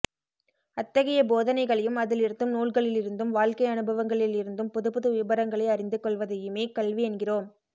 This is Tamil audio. அத்தகைய போதனைகளையும் அதிலிருந்தும் நூல்களிலிருந்தும் வாழ்க்கை அனுபவங்களில் இருந்தும் புதுப்புது விபரங்களை அறிந்து கொள்வதையுமே கல்வி என்கிறோம்